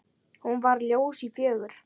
Hún var ljós og fögur.